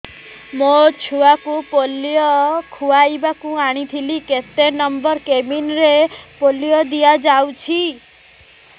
ମୋର ଛୁଆକୁ ପୋଲିଓ ଖୁଆଇବାକୁ ଆଣିଥିଲି କେତେ ନମ୍ବର କେବିନ ରେ ପୋଲିଓ ଦିଆଯାଉଛି